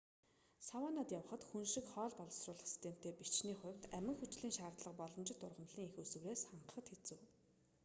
саваннад явахад хүн шиг хоол боловсруулах системтэй бичний хувьд амин хүчлийн шаардлагаа боломжит ургамлын эх үүсвэрээс хангахад хэцүү